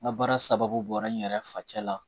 N ka baara sababu bɔra n yɛrɛ facɛ la